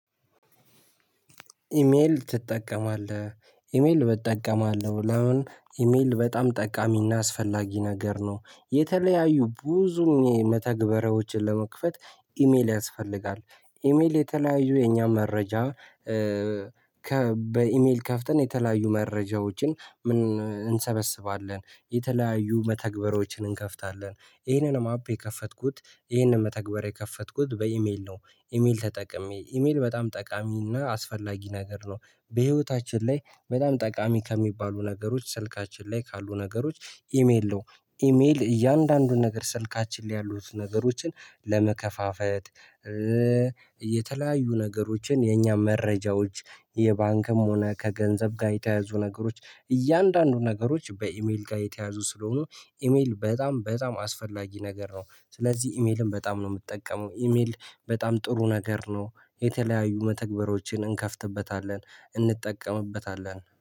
ኢሜል ትጠቀማለህ ኢሜል እጠቀማለሁ። ለምን? ኢሜል በጣም ጠቃሚና አስፈላጊ ነገር ነው። የተለያዩ ብዙ መተግበሪያዎችን ለመክፈት ኢሜል ያስፈልጋል። ኢሜል የተለያዩ የኛ መረጃ። ከ በኢሜል ከፍተን የተለያዩ መረጃዎችን እንሰበስባለን። የተለያዩ መተግበሪያዎችን እንከፍታለን። ይሄንንም አፕ የከፈትኩት ይሄንን መተግበሪያ የከፈትኩት በኢሜል ነው። ኢሜል ተጠቅሜ ኢሜል በጣም ጠቃሚና አስፈላጊ ነገር ነው። በህይወታችን ላይ በጣም ጠቃሚ ከሚባሉ ነገሮች ስልካችን ላይ ካሉ ነገሮች ኢሜል ነው። ኢሜል እያንዳንዱ ነገር ስልካችን ላይ ያሉት ነገሮችን ለመከፋፈት። የተለያዩ ነገሮችን የኛ መረጃዎች የባንክም ሆነ ከገንዘብ ጋር የተያያዙ ነገሮች። እያንዳንዱ ነገሮች በኢሜል ጋር የተያያዙ ስለሆኑ ኢሜል በጣም በጣም አስፈላጊ ነገር ነው። ስለዚህ ኢሜልን በጣም ነው የምጠቀመው ኢሜል። በጣም ጥሩ ነገር ነው። የተለያዩ መተግበሪያዎችን እንከፍትበታለን እንጠቀምበታለን